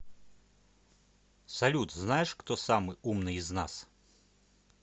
салют знаешь кто самый умный из нас